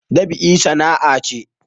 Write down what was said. Dab'i sana'a ce